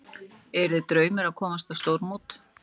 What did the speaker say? Yrði draumur að komast á stórmót